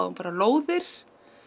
bara lóðir